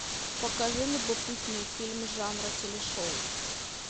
покажи любопытный фильм жанра телешоу